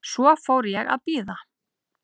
Svo fór ég að bíða.